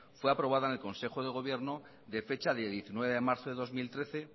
fue aprobada en el consejo del gobierno de fecha de diecinueve de marzo de dos mil trece